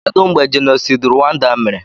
Kedụ mgbe jenosaịd Ruwanda mere?